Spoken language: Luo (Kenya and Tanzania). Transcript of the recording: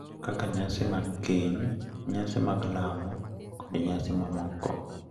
kaka nyasi mag keny, nyasi mag lamo, kod nyasi mamoko.